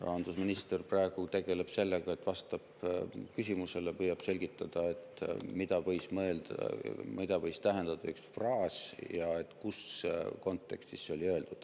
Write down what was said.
Rahandusminister praegu tegeleb sellega, et vastab küsimusele ja püüab selgitada, mida võis tähendada üks fraas ja mis kontekstis see oli öeldud.